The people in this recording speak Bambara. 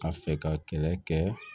Ka fɛ ka kɛlɛ kɛ